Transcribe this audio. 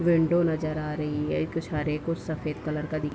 window नजर आ रही है कुछ हरे कुछ सफ़ेद कलर का दि --